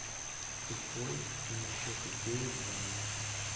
тупой и еще тупее два